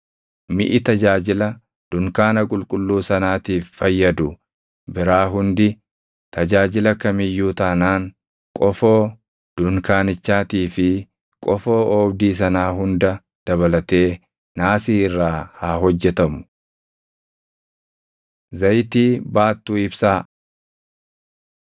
Miʼi tajaajila dunkaana qulqulluu sanaatiif fayyadu biraa hundi, tajaajila kam iyyuu taanaan, qofoo dunkaanichaatii fi qofoo oobdii sanaa hunda dabalatee naasii irraa haa hojjetamu. Zayitii Baattuu Ibsaa 27:20‑21 kwf – Lew 24:1‑3